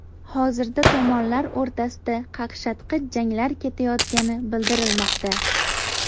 Hozirda tomonlar o‘rtasida qaqshatqich janglar ketayotgani bildirilmoqda.